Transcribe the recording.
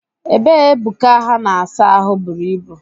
Ebe Ebuka ha na-asa ahụ buru ibu